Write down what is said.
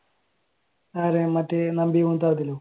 ആര് നമ്പി